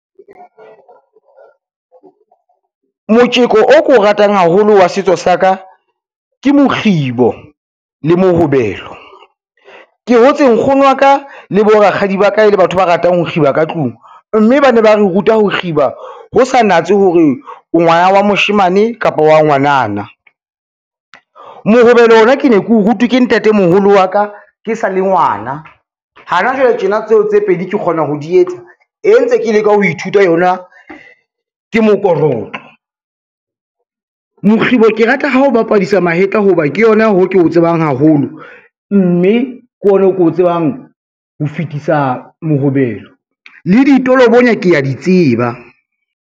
Motjeko o keo ratang haholo wa setso sa ka ke mokgibo le mohobelo. Ke hotse nkgono wa ka le borakgadi ba ka e le batho ba ratang ho kgiba ka tlung, mme ba ne ba re ruta ho kgiba ho sa natse hore o ngwana wa moshemane kapa wa ngwanana. Mohobelo ona ke ne ke o rutwe ke ntatemoholo wa ka ke sa le ngwana, hana jwale tjena tseo tse pedi ke kgona ho di etsa, e ntse ke leka ho ithuta yona ke mokorotlo. Mokgibo ke rata ha o bapadisa mahetla, ho ba ke yona hoo ke o tsebang haholo, mme ke ona o ko tsebang ho fetisa mohobelo le ditolobonya kea di tseba.